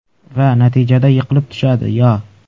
Va natijada yiqilib tushadi, Yo.